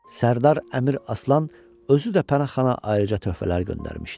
Sərdar Əmir Aslan özü də Pənahxana ayrıca töhfələr göndərmişdi.